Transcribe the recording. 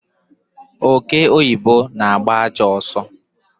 Ọke ọyibọ na-agba ajọọ ọsọ